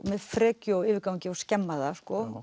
með frekju og yfirgangi og skemma það sko